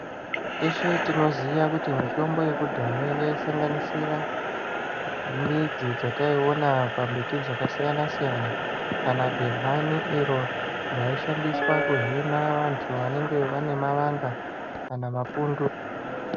Teshe tinoziya kuti mitombo yekudhaya yai sanganisira midzi dzataiona pa mbiti dzaka siyana siyana kana dehani iro raishandiswa kuhina vantu vanenge vane mavanga kana mapundu.